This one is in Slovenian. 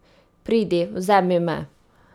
Pridi, vzemi me ...